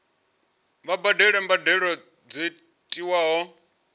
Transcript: vha badele mbadelo dzo tiwaho